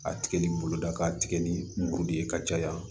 A tigɛli boloda k'a tigɛ ni muru ye ka caya